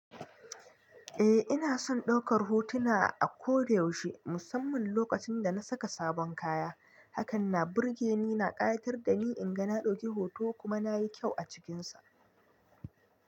Eh ina son ɗaukar hotuna a ko da yaushe, musamman lokacin da na saka sabon kaya. Hakanan birgeni na ƙayatar da ni in ga na ɗauki hoto kuma na yi kyau a cikinsa.